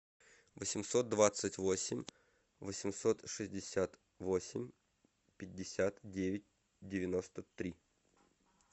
восемьсот двадцать восемь восемьсот шестьдесят восемь пятьдесят девять девяносто три